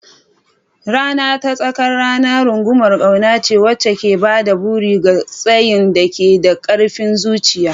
Rana ta tsakar rana rungumar ƙauna ce wacce ke ba da buri ga tsayin daka da ƙarfin zuciya.